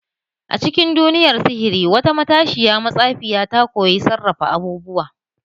A cikin duniyar sihiri, wata matashiyar matsafiya ta koyi sarrafa abubuwa.